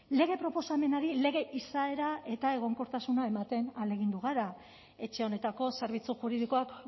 lege proposamenari lege izaera eta egonkortasuna ematen ahalegindu gara etxe honetako zerbitzu juridikoak